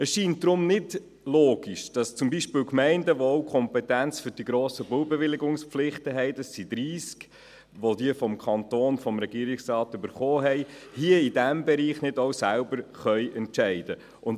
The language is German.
Es scheint deshalb nicht logisch, dass zum Beispiel Gemeinden, die auch die Kompetenz für die grossen Baubewilligungspflichten haben – es sind 30, die diese vom Regierungsrat erhalten haben –, in diesem Bereich nicht auch selbst entscheiden können.